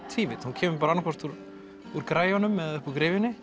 tvívídd hún kemur annað hvort úr úr græjunum eða upp úr